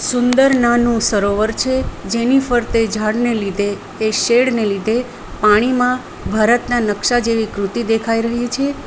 સુંદર નાનું સરોવર છે જેની ફરતે ઝાડને લીધે કે શેડને લીધે પાણીમાં ભારતના નકશા જેવી કૃતિ દેખાઈ રહી છે.